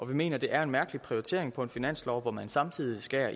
vi mener det er en mærkelig prioritering på en finanslov hvor man samtidig skærer